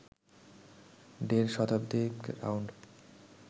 দেড় শতাধিক রাউন্ড